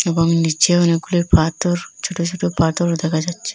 এবং নীচে অনেকগুলি পাথর ছোট ছোট পাথরও দেখা যাচ্ছে।